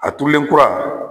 A turulenkura